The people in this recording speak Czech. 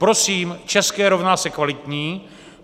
Prosím, české rovná se kvalitní.